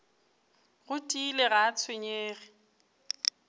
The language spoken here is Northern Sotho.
go tiile ga a tshwenyege